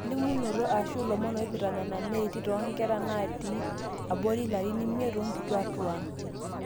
elimunoto aashu ilomon ooipirta nena neeti toonkera naatii abori ilarin imiet onkituaak tuaan